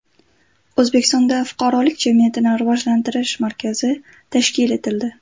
O‘zbekistonda Fuqarolik jamiyatini rivojlantirish markazi tashkil etildi.